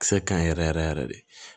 Kisɛ ka ɲi yɛrɛ yɛrɛ yɛrɛ yɛrɛ de